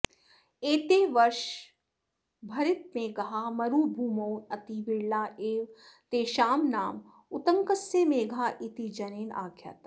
एते वर्षभरितमेघाः मरुभूमौ अति विरलाः एव तेषां नाम उत्तङ्कस्य मेघाः इति जनेन आख्यातम्